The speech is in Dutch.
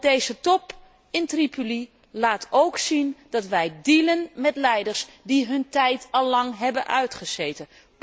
Want deze top in Tripoli laat ook zien dat wij dealen met leiders die hun tijd al lang hebben uitgezeten.